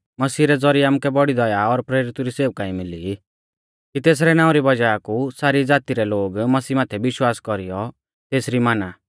मसीह रै ज़ौरिऐ आमुकै बौड़ी दया और प्रेरितु री सेवकाई मिली कि तेसरै नाऊं री वज़ाह कु सारी ज़ाती रै लोग मसीह माथै विश्वास कौरीयौ तेसरी माना